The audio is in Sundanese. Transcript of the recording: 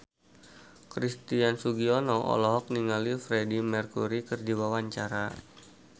Christian Sugiono olohok ningali Freedie Mercury keur diwawancara